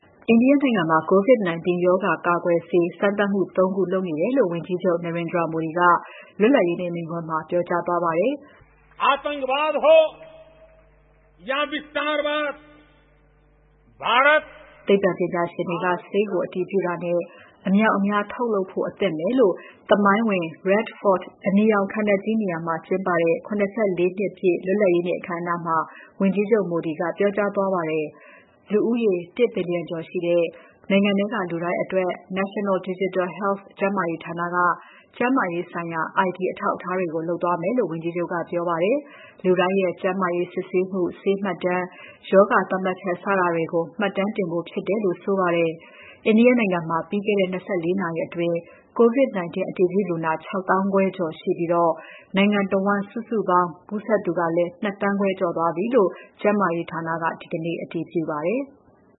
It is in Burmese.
အိန္ဒိယနိုင်ငံမှာ COVID-19 ရောဂါကာကွယ်ဆေး စမ်းသပ်မှု ၃ ခုကို လုပ်နေတယ်လို့ ဝန်ကြီးချုပ် Narendra Modi က လွတ်လပ်ရေးနေ့ မိန့်ခွန်းမှာ ပြောကြားသွားပါတယ်။ သိပ္ပံပညာရှင်တွေက ဆေးကို အတည်ပြုတာနဲ့ အမြောက်အမြား ထုတ်လုပ်ဖို့ အသင့်ပဲလို့ သမိုင်းဝင် Red Fort အနီရောင်ခံတပ်ကြီးနေရာမှာ ကျင်းပတဲ့ ၇၄ နှစ်ပြည့် လွတ်လပ်ရေးနေ့ အခမ်းအနားမှာ ဝန်ကြီးချုပ် Modi က ပြောကြားသွားခဲ့ပါတယ်။ လူဦးရေ ၁ ဘီလျံကျော်တဲ့ နိုင်ငံထဲက လူတိုင်းအတွက် National Digital Health ကျန်းမာရေးဌာနက ကျန်းမာရေးဆိုင်ရာ ID အထောက်အထားတွေကို လုပ်သွားမယ်လို့လည်း ဝန်ကြီးချုပ်က ပြောပါတယ်။ လူတိုင်းရဲ့ ကျန်းမာရေး စစ်ဆေးမှု၊ ဆေးမှတ်တမ်း၊ ရောဂါသတ်မှတ်ချက် စတာတွေကို မှတ်တမ်းတင်ဖို့ဖြစ်တယ်လို့ ဆိုပါတယ်။ အိန္ဒိယနိုင်ငံမှာ ပြီးခဲ့တဲ့ ၂၄ နာရီအတွင်း COVID-19 အတည်ပြုလူနာ ၆ သောင်းခွဲကျော်ရှိပြီး နိုင်ငံတဝန်း စုစုပေါင်း ကူးစက်သူ ၂ သန်းခွဲကျော်သွားပြီလို့ ကျန်းမာရေးဌာနက ဒီကနေ့ အတည်ပြုပါတယ်။